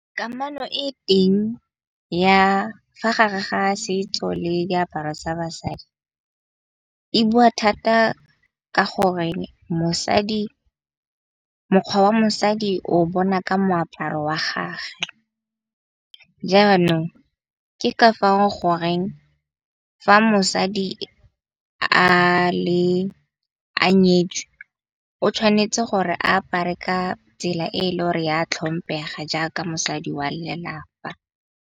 Kamano e teng ya fa gare ga setso le diaparo tsa basadi, e bua thata ka gore mokgwa wa mosadi o bona ka moaparo wa gage. Jaanong ke ka fao goreng, fa mosadi a nyetswe o tshwanetse gore a apare ka tsela e e le gore ya tlhomphega jaaka mosadi wa lelapa.